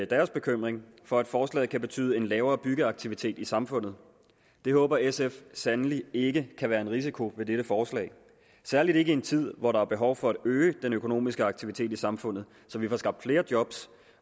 deres bekymring for at forslaget kan betyde en lavere byggeaktivitet i samfundet det håber sf sandelig ikke kan være en risiko ved dette forslag særlig ikke i en tid hvor der er behov for at øge den økonomiske aktivitet i samfundet så vi får skabt flere job